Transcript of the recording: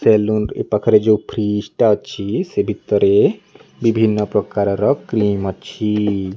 Salon ଏ ପାଖରେ ଯୋଉ ଫ୍ରିଜ୍ ଟା ଅଛି ସେ ଭିତରେ ବିଭିନ୍ନ ପ୍ରକାରର କ୍ଲେମ୍ ଅଛି।